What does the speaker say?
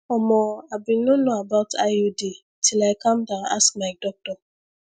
omo i bin no know about iud till i calm down ask my doctor